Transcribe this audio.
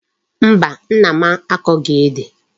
Mba, Nna m akoghi Ede